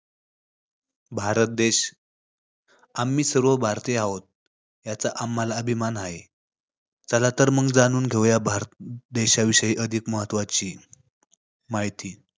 भारत देश, आम्ही सर्व भारतीय आहोत, याचा आम्हाला अभिमान हाय. चला तर मग जाणून घेऊया भारत देशाविषयी अधिक महत्त्वाची माहिती.